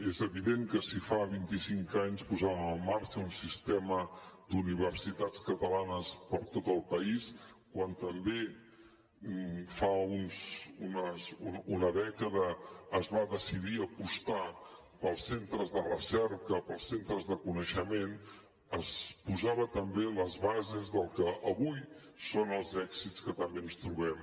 és evident que si fa vint i cinc anys posàvem en marxa un sistema d’universitats catalanes per tot el país quan també fa una dècada es va decidir apostar pels centres de recerca pels centres de coneixement es posaven també les bases del que avui són els èxits que també ens trobem